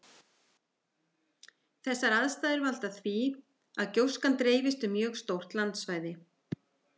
Þessar aðstæður valda því að gjóskan dreifist um mjög stórt landsvæði.